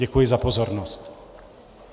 Děkuji za pozornost.